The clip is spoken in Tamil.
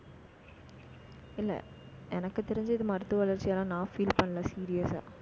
இல்லை, எனக்கு தெரிஞ்சு இது மருத்துவ வளர்ச்சியால நான் feel பண்ணலை serious அ